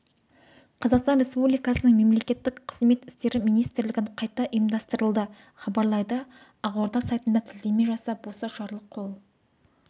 қазақстан республикасының мемлекеттік қызмет істері министрлігін қайта ұйымдастырылды хабарлайды ақорда сайтына сілтеме жасап осы жарлық қол